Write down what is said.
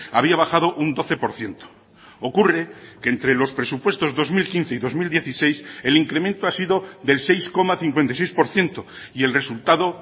había bajado un doce por ciento ocurre que entre los presupuestos dos mil quince y dos mil dieciséis el incremento ha sido del seis coma cincuenta y seis por ciento y el resultado